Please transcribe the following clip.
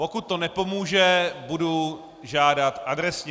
Pokud to nepomůže, budu žádat adresně.